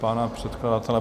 Pan předkladatel?